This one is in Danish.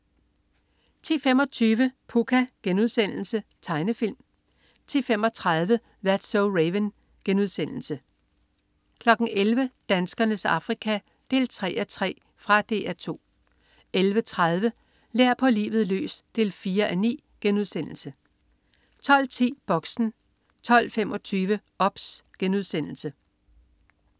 10.25 Pucca.* Tegnefilm 10.35 That's so Raven* 11.00 Danskernes Afrika 3:3. Fra DR 2 11.30 Lær på livet løs 4:9* 12.10 Boxen 12.25 OBS*